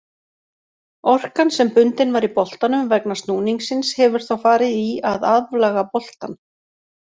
Orkan sem bundin var í boltanum vegna snúningsins hefur þá farið í að aflaga boltann.